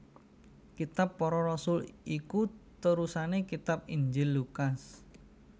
Kitab Para Rasul iku terusané kitab Injil Lukas